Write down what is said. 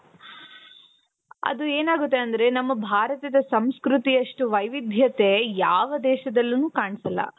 ಅದು ಏನಾಗುತ್ತೆ ಅಂದ್ರೆ ನಮ್ಮ ಭಾರತದ ಸಂಸ್ಕೃತಿಯಷ್ಟು ವೈವಿಧ್ಯತೆ ಯಾವ ದೇಶದಲ್ಲೂನೂ ಕಾಣ್ಸಲ್ಲ .